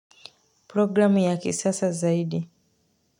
Programm ya kisasa zaidi.